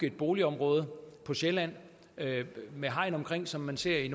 et boligområde på sjælland med hegn omkring som man ser i